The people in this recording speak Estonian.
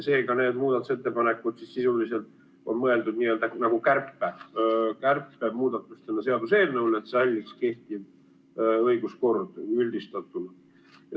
Seega, need muudatusettepanekud sisuliselt on mõeldud kärpemuudatustena seaduseelnõule, et üldistatult säiliks kehtiv õiguskord.